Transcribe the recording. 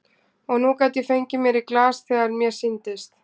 Og nú gat ég fengið mér í glas þegar mér sýndist.